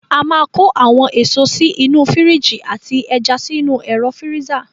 A máa kó àwọn èso sí inú fíríjì àti ẹja sínú ẹ̀ro fíríza.